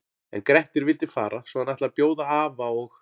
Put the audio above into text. En Grettir vildi fara svo hann ætlaði að bjóða afa og